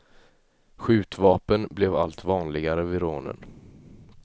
Skjutvapen blev allt vanligare vid rånen.